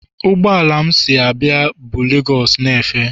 Ụgbọ ala m si Abia bu lagos na-efe.